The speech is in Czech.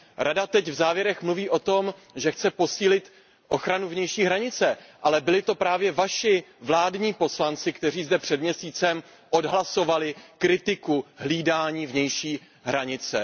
Rada teď v závěrech mluví o tom, že chce posílit ochranu vnější hranice, ale byli to právě vaši vládní poslanci, kteří zde před měsícem odhlasovali kritiku hlídání vnější hranice.